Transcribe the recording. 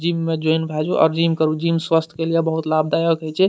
Gym में join भए जो आर जिम करू जिम स्वास्थ के लिए बहुत लाभदायक हेय छै।